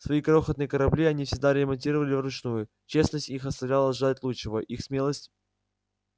свои крохотные корабли они всегда ремонтировали вручную честность их оставляла желать лучшего их смелость